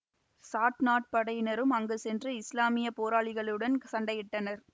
chat நாட்டுப் படையினரும் அங்கு சென்று இசுலாமிய போராளிகளுடன் சண்டையிட்டனர்